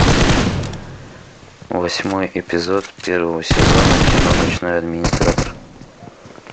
восьмой эпизод первого сезона кино ночной администратор